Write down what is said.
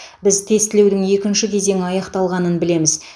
біз тестілеудің екінші кезеңі аяқталғанын білеміз